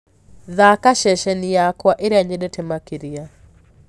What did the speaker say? thaka ceceni yakwa ĩrĩa nyendete makĩrĩa